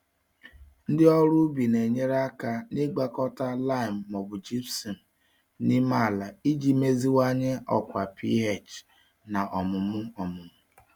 Ndị ọrụ ubi na-enyere aka n'ịgwakọta lime ma ọ bụ gypsum n'ime ala iji meziwanye ọkwa pH na ọmụmụ ọmụmụ.